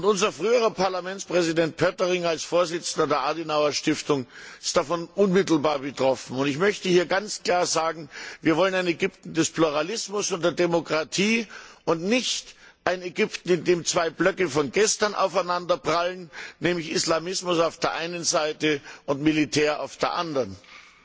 Unser früherer Parlamentspräsident Pöttering ist als Vorsitzender der Konrad Adenauer Stiftung davon unmittelbar betroffen. Ich möchte hier ganz klar sagen Wir wollen ein Ägypten des Pluralismus und der Demokratie und nicht ein Ägypten, in dem zwei Blöcke von gestern aufeinanderprallen, nämlich Islamismus auf der einen Seite und Militär auf der anderen Seite.